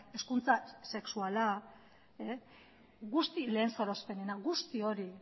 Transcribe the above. hezkuntza sexuala lehen sorospenena guzti hori